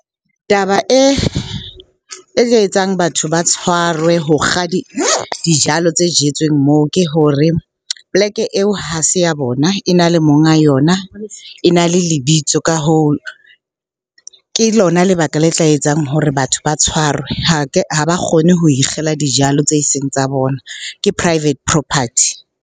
Taba e etsang batho ba tshwarwe ho kga dijalo tse jetsweng moo ke hore poleke eo ha se ya bona, e na le monga yona, e na le lebitso. Ka hoo, ke lona lebaka le tla etsang hore batho ba tshwarwe. Ha ba kgone ho ikgella dijalo tse seng tsa bona, ke private property.